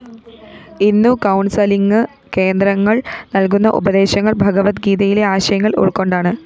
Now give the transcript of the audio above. ഇന്നു കൗണ്‍സലിംഗ് കേന്ദ്രങ്ങള്‍ നല്‍കുന്ന ഉപദേശങ്ങള്‍ ഭഗവത്ഗീതയിലെ ആശയങ്ങള്‍ ഉള്‍ക്കൊണ്ടാണ്